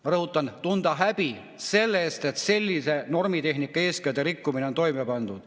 Ma rõhutan: tundma häbi selle pärast, et selline normitehnika eeskirja rikkumine on toime pandud.